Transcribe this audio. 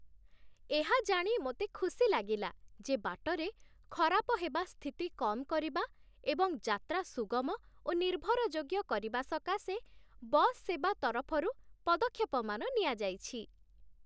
ଏହା ଜାଣି ମୋତେ ଖୁସି ଲାଗିଲା ଯେ ବାଟରେ ଖରାପ ହେବା ସ୍ଥିତି କମ୍ କରିବା ଏବଂ ଯାତ୍ରା ସୁଗମ ଓ ନିର୍ଭରଯୋଗ୍ୟ କରିବା ସକାଶେ ବସ୍ ସେବା ତରଫରୁ ପଦକ୍ଷେପମାନ ନିଆଯାଇଛି।